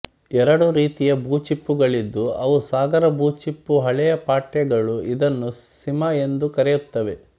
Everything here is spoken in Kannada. ಎರಡು ರೀತಿಯ ಭೂಚಿಪ್ಪುಗಳಿದ್ದು ಅವು ಸಾಗರ ಭೂಚಿಪ್ಪು ಹಳೆಯ ಪಠ್ಯಗಳು ಇದನ್ನು ಸಿಮ ಎಂದು ಕರೆಯುತ್ತವೆ